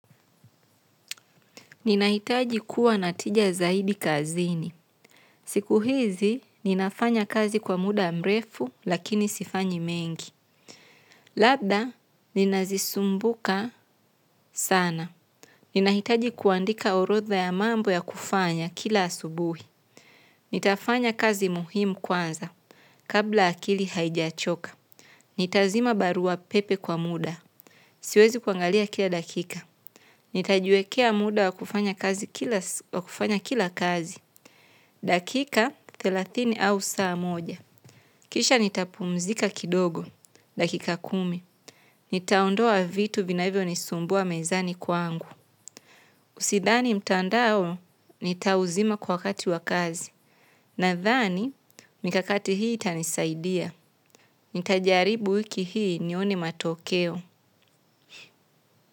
Ninahitaji kuwa na tija zaidi kazini. Siku hizi, ninafanya kazi kwa muda mrefu, lakini sifanyi mengi. Labda, ninazisumbuka sana. Ninahitaji kuandika orodha ya mambo ya kufanya kila asubuhi. Nitafanya kazi muhimu kwanza, kabla akili haijachoka. Nitazima barua pepe kwa muda. Siwezi kuangalia kila dakika. Nitajuekea muda wa kufanya kazi kila kazi. Dakika thelathini au saa moja. Kisha nitapumzika kidogo. Dakika kumi. Nitaondoa vitu vinavyo nisumbua mezani kwa angu. Usidhani mtandao, nitauzima kwa kati wa kazi. Nadhani, mikakati hii tanisaidia. Nitajaribu wiki hii nione matokeo.